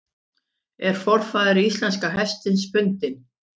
Er forfaðir íslenska hestsins fundinn?